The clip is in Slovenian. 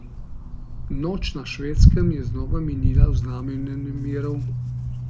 Noč na Švedskem je znova minila v znamenju nemirov.